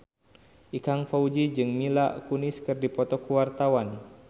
Ikang Fawzi jeung Mila Kunis keur dipoto ku wartawan